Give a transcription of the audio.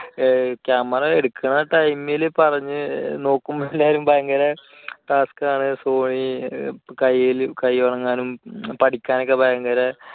camera എടുക്കുന്ന time ൽ പറഞ്ഞ് നോക്കുമ്പോൾ എല്ലാവരും ഭയങ്കര ആണ് sony കൈ വഴങ്ങാനും പഠിക്കാനും ഒക്കെ ഭയങ്കര